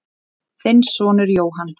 Þinn sonur Jóhann.